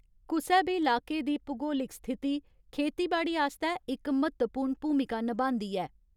कुसै बी लाके दी भूगोलिक स्थिति खेतीबाड़ी आस्तै इक म्हत्तवपूर्ण भूमिका नभांदी ऐ।